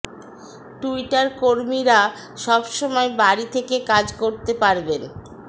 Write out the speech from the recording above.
Twitter কর্মীরা সব সময় বাড়ি থেকে কাজ করতে পারবেন